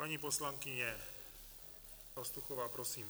Paní poslankyně Pastuchová, prosím.